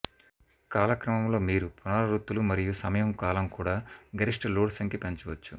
కాలక్రమంలో మీరు పునరావృత్తులు మరియు సమయం కాలం కూడా గరిష్ట లోడ్ సంఖ్య పెంచవచ్చు